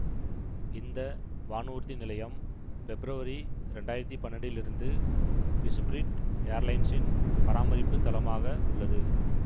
இந்த வானூர்தி நிலையம் பெப்ரவரி இரண்டாயிரத்தி பன்னெண்டிலிருந்து இசுபிரிட் ஏர்லைன்சின் பராமரிப்பு தளமாக உள்ளது